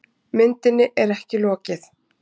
Myndinni er ekki lokið.